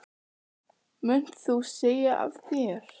Jón Júlíus Karlsson: Munt þú segja af þér?